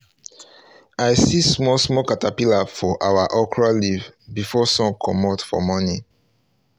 i see small small caterpillars for our okra leaves before sun comot for morning